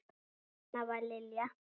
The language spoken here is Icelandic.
Svona var Lilja.